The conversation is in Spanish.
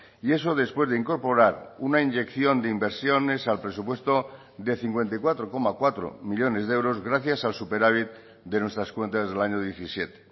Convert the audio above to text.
y eso después de incorporar una inyección de inversiones al presupuesto de cincuenta y cuatro coma cuatro millónes de euros gracias al superávit de nuestras cuentas del año diecisiete